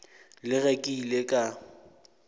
le ge ke ile ka